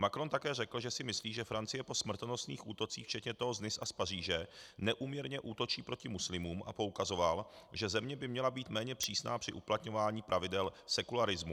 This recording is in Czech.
Macron také řekl, že si myslí, že Francie po smrtonosných útocích včetně toho z Nice a z Paříže neúměrně útočí proti muslimům a poukazoval, že země by měla být méně přísná při uplatňování pravidel sekularismu.